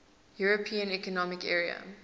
european economic area